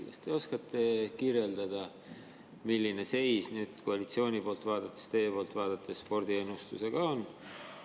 Kas te oskate kirjeldada, milline seis koalitsiooni poolt vaadates, teie poolt vaadates spordiennustusega on?